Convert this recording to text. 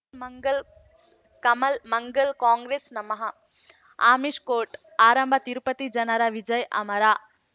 ಮಂಗಳ್ ಕಮಲ್ ಮಂಗಳ್ ಕಾಂಗ್ರೆಸ್ ನಮಃ ಅಮಿಷ್ ಕೋರ್ಟ್ ಆರಂಭ ತಿರುಪತಿ ಜನರ ವಿಜಯ ಅಮರ